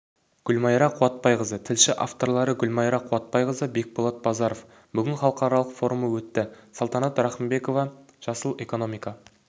гүлмайра қуатбайқызы тілші авторлары гүлмайра қуатбайқызы бекболат базаров бүгін халықаралық форумы өтті салтанат рахымбекова жасыл экономика